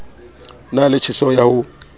na le tjheseho ya ho